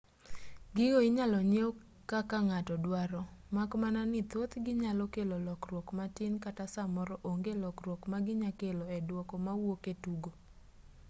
gigo inyalo nyiew kaka ng'ato duaro mak mana ni thothgi nyalo kelo lokruok matin kata samoro onge lokruok ma ginyalo kelo e dwoko mawuok e tugo